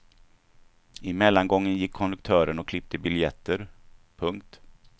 I mellangången gick konduktören och klippte biljetter. punkt